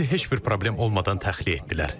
Bizi heç bir problem olmadan təxliyə etdilər.